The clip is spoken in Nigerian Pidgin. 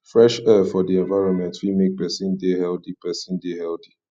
fresh air for di environment fit make person de healthy person de healthy